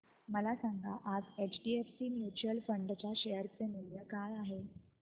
मला सांगा आज एचडीएफसी म्यूचुअल फंड च्या शेअर चे मूल्य काय आहे